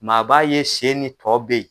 M'a b'a ye senni tɔ be ye